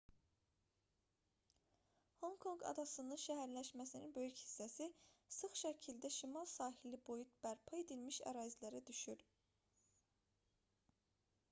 honkonq adasının şəhərləşməsinin böyük hissəsi sıx şəkildə şimal sahili boyu bərpa edilmiş ərazilərə düşür